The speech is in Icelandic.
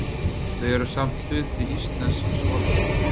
þau eru samt hluti íslensks orðaforða